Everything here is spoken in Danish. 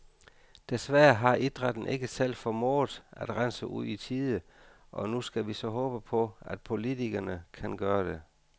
Desværre har idrætten ikke selv formået at rense ud i tide, og nu skal vi så håbe på, at politikerne kan gøre det.